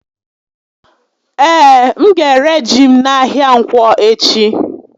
Ee, m ga-éré ji m n'ahịa Ǹkwọ echi